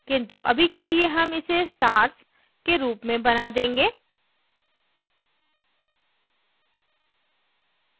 किंतु अभी के लिए हम इसे stars के रूप में बना देंगे